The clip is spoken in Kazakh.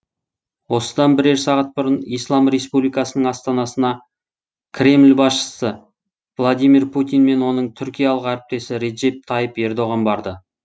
осыдан бірер сағат бұрын ислам республикасының астанасына кремль басшысы владимир путин мен оның түркиялық әріптесі реджеп тайып ердоған барды